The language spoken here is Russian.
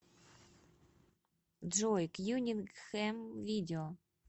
джой кьюнингхэм видео